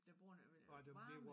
Der bruger noget varme